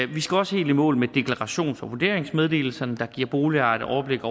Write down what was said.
vi skal også helt i mål med deklarationen for vurderingsmeddelelserne der giver boligejerne overblik